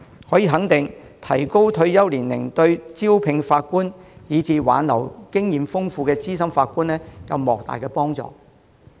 可以肯定的是，提高退休年齡對招聘法官，以及挽留經驗豐富的資深法官有莫大幫助。